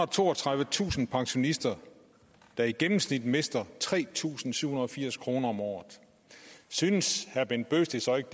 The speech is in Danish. og toogtredivetusind pensionister der i gennemsnit mister tre tusind syv hundrede og firs kroner om året synes herre bent bøgsted så ikke